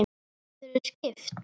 Geturðu skipt?